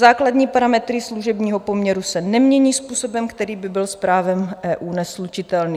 Základní parametry služebního poměru se nemění způsobem, který by byl s právem EU neslučitelný.